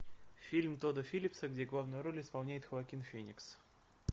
фильм тодда филлипса где главную роль исполняет хоакин феникс